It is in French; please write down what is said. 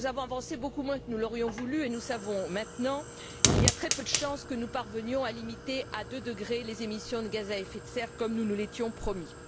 Nous avons avancé beaucoup moins que nous l'aurions voulu et nous savons, maintenant, qu'il y a très peu de chances que nous parvenions à limiter à deux points les émissions de gaz à effet de serre, comme nous nous l'étions promis.